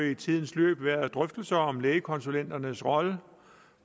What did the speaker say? i tidens løb været drøftelser om lægekonsulenternes rolle